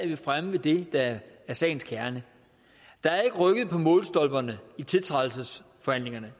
vi fremme ved det der er sagens kerne der er ikke rykket på målstolperne i tiltrædelsesforhandlingerne